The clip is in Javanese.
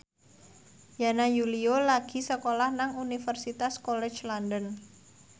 Yana Julio lagi sekolah nang Universitas College London